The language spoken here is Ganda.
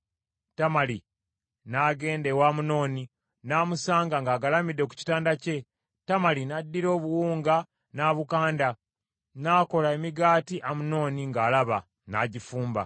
Tamali n’agenda ewa Amunoni n’amusanga ng’agalamidde ku kitanda kye. Tamali n’addira obuwunga n’abukanda, n’akola emigaati Amunoni ng’alaba, n’agifumba.